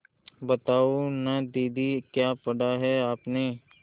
बताओ न दीदी क्या पढ़ा है आपने